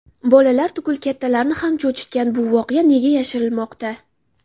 Bolalar tugul kattalarni ham cho‘chitgan bu voqea nega yashirilmoqda?